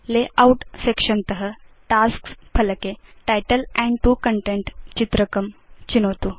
layout section त tasks फलके title and 2 content चित्रकं चिनोतु